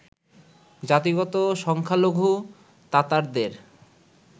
জাতিগত সংখ্যালঘু তাতারদের